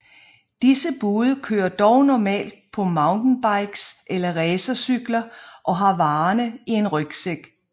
Disse bude kører dog normalt på mountainbikes eller racercykler og har varerne i en rygsæk